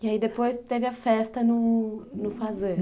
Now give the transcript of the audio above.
E aí depois teve a festa no no.